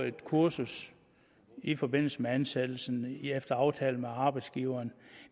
et kursus i forbindelse med ansættelsen efter aftale med arbejdsgiveren